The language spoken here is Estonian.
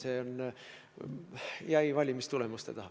See jäi valimistulemuste taha.